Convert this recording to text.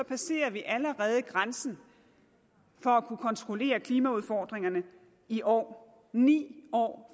passerer vi allerede grænsen for at kunne kontrollere klimaudfordringerne i år ni år